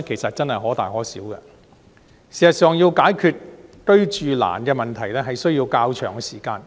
事實上，要解決"居住難"的問題，實在需要較長的時間。